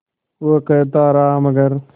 वो कहता रहा मगर